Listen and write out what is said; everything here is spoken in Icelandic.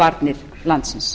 varnir landsins